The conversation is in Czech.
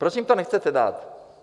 Proč jim to nechcete dát?